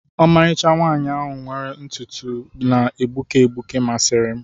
Ọmarịcha nwaanyị ahụ were ntutu na-egbuke egbuke masịrị m.